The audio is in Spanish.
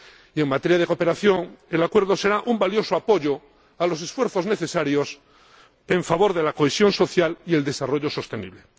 y en materia de cooperación, el Acuerdo será un valioso apoyo a los esfuerzos necesarios en favor de la cohesión social y del desarrollo sostenible.